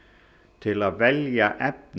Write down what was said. til að velja efni